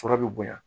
Sɔrɔ bɛ bonya